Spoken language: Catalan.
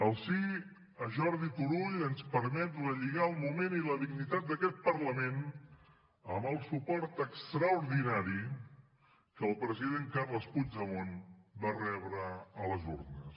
el sí a jordi turull ens permet relligar el moment i la dignitat d’aquest parlament amb el suport extraordinari que el president carles puigdemont va rebre a les urnes